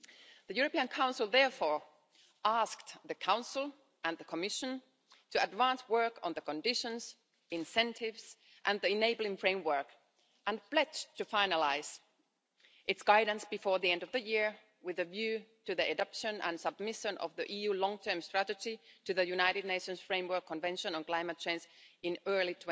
The European Council therefore asked the Council and the Commission to advance work on the conditions, incentives and the enabling framework, and pledged to finalise its guidance before the end of the year with a view to the adoption and submission of the EU's long term strategy to the United Nations Framework Convention on Climate Change in early